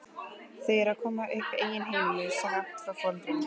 Þau eru að koma upp eigin heimilum skammt frá foreldrunum.